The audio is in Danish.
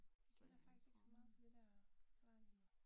Jeg kender faktisk ikke så meget til det der Veteranhjemmet